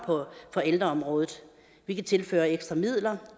på ældreområdet vi kan tilføre ekstra midler